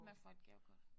Man får et gavekort